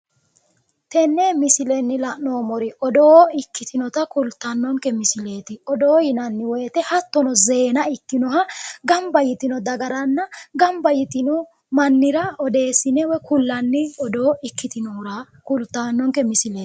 tenne misilenni la'noommori odoo ikkitinota kultannonke misileeti odoo yinanni wote hattono zeena ikkinnoha gamba yitino dagaranna gamba yitino mannira odeessine kullanni odoo ikkitinohura kultannoonke misileeti.